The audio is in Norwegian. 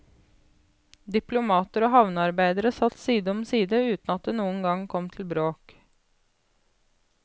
Diplomater og havnearbeidere satt side om side uten at det noen gang kom til bråk.